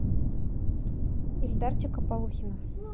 ильдарчика полухина